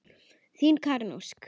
Þín, Karen Ósk.